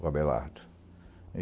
o Abelardo.